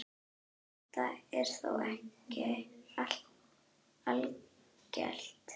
Þetta er þó ekki algilt.